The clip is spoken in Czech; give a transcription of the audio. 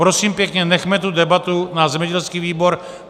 Prosím pěkně, nechme tu debatu na zemědělský výbor.